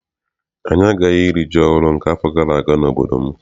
Anyị agaghị iri ji ọhụụ nke afọ gara aga n'obodo m.